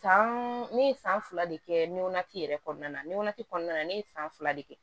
San ne ye san fila de kɛ ne yɛrɛ kɔnɔna na ne kɔnɔna na ne ye san fila de kɛ